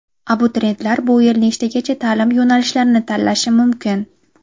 Abituriyentlar bu yil nechtagacha ta’lim yo‘nalishlarini tanlashi mumkin?.